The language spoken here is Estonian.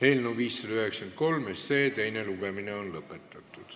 Eelnõu 593 teine lugemine on lõpetatud.